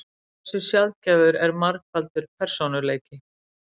Hversu sjaldgæfur er margfaldur persónuleiki?